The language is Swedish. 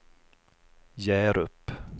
Hjärup